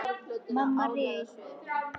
Mamma réð sig til fíns fólks í